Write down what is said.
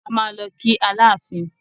A máa lọ kí Aláàfin.